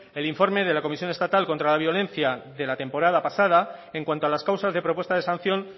el informe de la comisión estatal contra la violencia de la temporada pasada en cuanto a las causas de propuesta de sanción